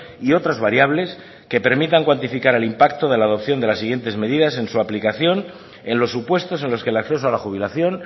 y otras variables que permitan cuantificar el impacto de la adopción de las siguientes medidas en su aplicación en los supuestos en los que el acceso a la jubilación